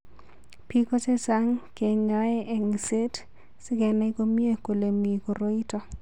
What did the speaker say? Biko chechang' kenyae eng'set sikenai komnyie kole mi koroi ito.